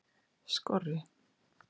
Skorri